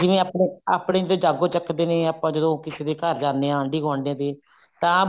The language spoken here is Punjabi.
ਜਿਵੇਂ ਆਪਨੇ ਆਪਨੇ ਤੇ ਜਾਗੋ ਚੱਕਦੇ ਨੇ ਆਪਾਂ ਜਦੋਂ ਕਿਸੇ ਦੇ ਘਰ ਜਾਂਦੇ ਹਾਂ ਆਂਡੀ ਗੁਆਂਡੀ ਦੇ ਤਾਂ